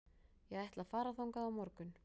Ég ætla að fara þangað á morgun.